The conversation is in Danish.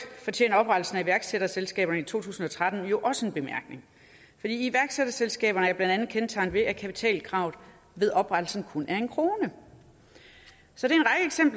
fortjener oprettelsen af iværksætterselskaberne i to tusind og tretten i øvrigt også en bemærkning for iværksætterselskaberne er blandt andet kendetegnet ved at kapitalkravet ved oprettelsen kun er en kroner så det